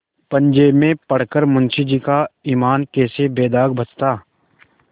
पंजे में पड़ कर मुंशीजी का ईमान कैसे बेदाग बचता